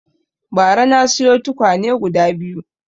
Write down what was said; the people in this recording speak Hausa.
Bara na siyo tukwane guda biyu